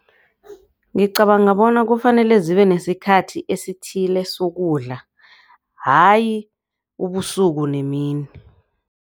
Ngicabanga bona kufanele zibe nesikhathi esithile sokudla hayi ubusuku nemini.